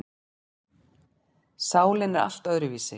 Sálin er allt öðruvísi.